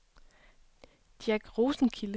Jack Rosenkilde